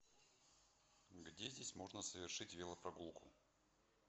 где здесь можно совершить велопрогулку